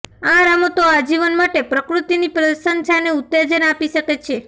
આ રમતો આજીવન માટે પ્રકૃતિની પ્રશંસાને ઉત્તેજન આપી શકે છે